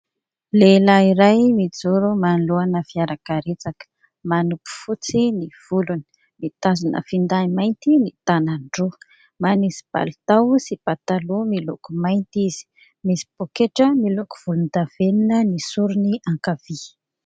Lehilahy iray mijoro manoloana fiarakaretsaka, manopy fotsy ny volony, mitazona finday mainty ny tanany roa, manisy palitao sy pataloha miloko mainty izy. Misy pôketra miloko volondavenona ny sorony ankavia.